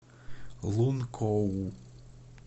лункоу